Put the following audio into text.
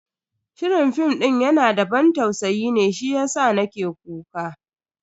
Shirin fim din yana da ban tausayi ne shiyasa nake kuka.